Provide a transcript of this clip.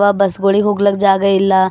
ಬ ಬಸ್ ಗುಳಿಗ್ ಹೋಗ್ಲಿಕ್ ಜಾಗ ಇಲ್ಲ.